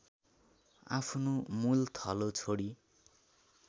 आफ्नो मूलथलो छोडी